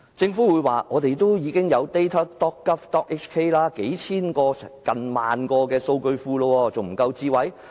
政府會說，我們已經有 data.gov.hk， 有數千個或接近1萬個數據庫，這還不夠"智慧"嗎？